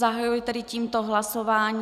Zahajuji tedy tímto hlasování.